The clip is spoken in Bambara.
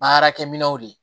An yɛrɛkɛminɛnw de